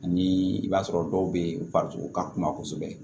Ani i b'a sɔrɔ dɔw bɛ farikolo ka kuma kosɛbɛ